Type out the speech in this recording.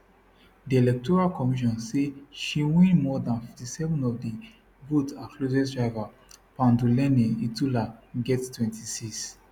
di electoral commission say she win more dan 57 of di vote her closest rival panduleni itula get 26